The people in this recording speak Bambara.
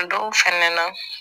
Dɔw fɛnɛ na